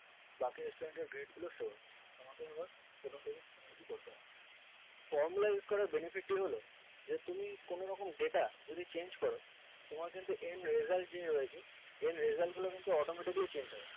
বাকি student grade গুলো show হচ্ছে তোমাকে এবার প্রথম থেকে কোনো কিছু করতে হবে না formula use করার benefit টি হলো যে তুমি কোনোরকম data যদি change করো তোমার কিন্তু end result যে হয়েছে এই end result গুলি কিন্তু automatically change হবে